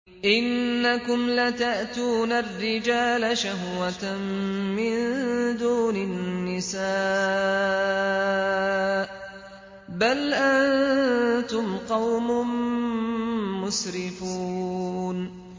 إِنَّكُمْ لَتَأْتُونَ الرِّجَالَ شَهْوَةً مِّن دُونِ النِّسَاءِ ۚ بَلْ أَنتُمْ قَوْمٌ مُّسْرِفُونَ